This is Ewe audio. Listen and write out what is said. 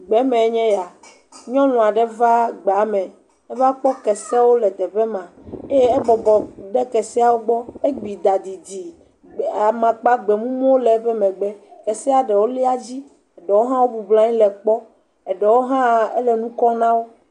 Gbee mee nye ya. Nyɔnu aɖe va gbea me. eva kpɔ kesewo le teƒe ma eye ebɔbɔ ɖe keseawo gbɔ. Egbi ɖa didi. Amakpa gbemumuwo le eƒe megbe. Kesea ɖewo lia edzi. Ɖewo hã wo bɔblɔ nyi le ekpɔ. Eɖewo hã, ele ŋkɔ na wo.